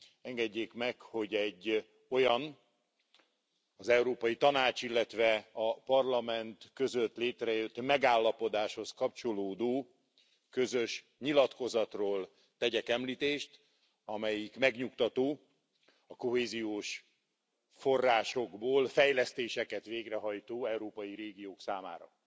Engedjék meg, hogy egy olyan, az Európai Tanács, illetve a Parlament között létrejött megállapodáshoz kapcsolódó, közös nyilatkozatról tegyek említést, amelyik megnyugtató a kohéziós forrásokból fejlesztéseket végrehajtó európai régiók számára.